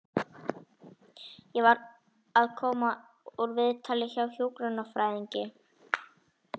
Ég var að koma úr viðtali hjá hjúkrunarfræðingi.